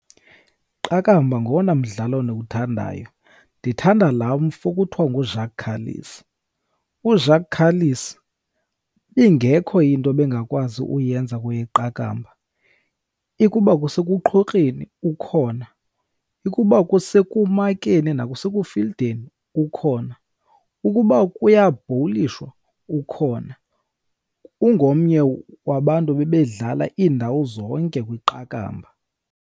Iqakamba ngowona mdlalo ndiwuthandayo. Ndithanda laa mfo kuthiwa nguJacques Kallis. UJacques Kallis, ingekho into bengakwazi ukuyenza kweyeqakamba. Ikuba kusekuqhokreni ukhona, ikuba kusemakeni nasekufildeni ukhona, ukuba kuyabhowulishwa ukhona. Ungomnye wabantu bebedlala iindawo zonke kwiqakamba.